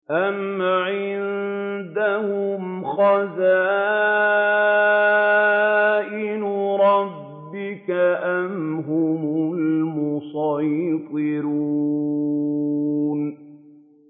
أَمْ عِندَهُمْ خَزَائِنُ رَبِّكَ أَمْ هُمُ الْمُصَيْطِرُونَ